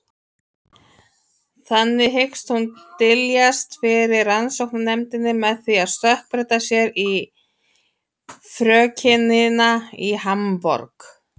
Þannig hyggst hún dyljast fyrir rannsóknarnefndinni með því að stökkbreyta sér í frökenina í Hamborg.